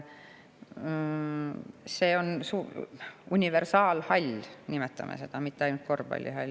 See on universaalhall, nimetame seda nii, mitte ainult korvpallihall.